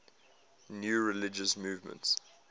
new religious movements